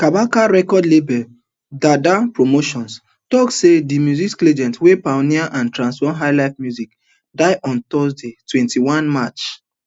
kabaka record label derda promotions tok say di music legend wey pioneer and transform highlife music die on thursday twenty-one march